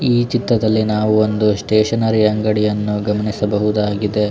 ಈ ಚಿತ್ರದಲ್ಲಿ ನಾವು ಒಂದು ಸ್ಟೇಷನರಿ ಅಂಗಡಿಯನ್ನು ಗಮನಿಸಬಹುದಾಗಿದೆ .